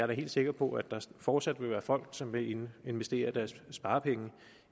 helt sikker på at der fortsat vil være folk som vil investere deres sparepenge